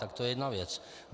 Tak to je jedna věc.